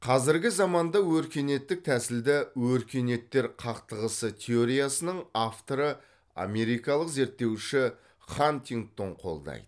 қазіргі заманда өркениеттік тәсілді өркениеттер қақтығысы теориясының авторы америкалық зерттеуші хантингтон қолдайды